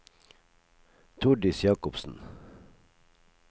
Tordis Jacobsen